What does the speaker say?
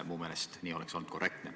Minu meelest oleks nii olnud korrektne.